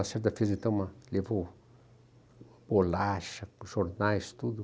O Lacerda visitamos a, levou bolacha, jornais, tudo.